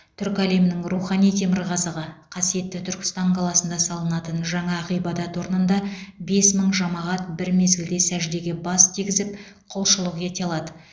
түрік әлемінің рухани темірқазығы қасиетті түркістан қаласында салынатын жаңа ғибадат орнында бес мың жамағат бір мезгілде сәждеге бас тигізіп құлшылық ете алады